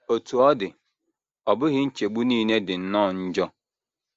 Otú ọ dị, ọ bụghị nchegbu nile dị nnọọ njọ.